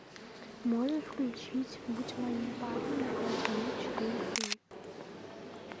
можешь включить будь моим парнем на пять минут четыре кей